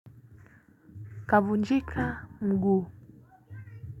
Kavunjika mguu.